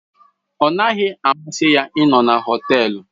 Ọ naghị amasị ya ịnọ na họtel.